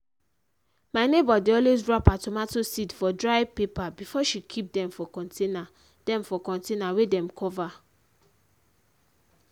my neighbour dey always wrap her tomato seed for dry paper before she keep dem for container dem for container wey dem cover.